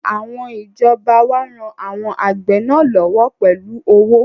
Àwọn ìjọba wá ran àwọn àgbẹ̀ náà lọ́wọ́ pẹ̀lú owó